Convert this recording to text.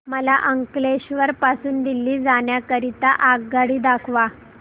मला अंकलेश्वर पासून दिल्ली जाण्या करीता आगगाडी दाखवा